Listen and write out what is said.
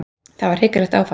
Það var hrikalegt áfall.